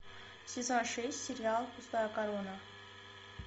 сезон шесть сериал пустая корона